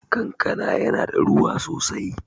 Kankana yana da ruwa sosai